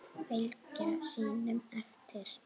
Fylgja sínum eftir.